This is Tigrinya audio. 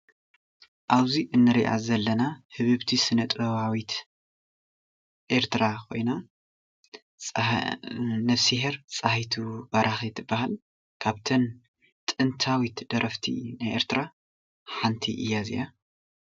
ኣብዙይ እንሪኣ ዘለና ህብብቲ ሰነጥባዊት ኤርትራ ኾይና ነፍስሄር ፀሃይቱ በራኺ ትበሃል። ካብተን ጥንታዊት ደረፍቲ ናይ ኤርትራ ሓንቲ እያ እዚኣ።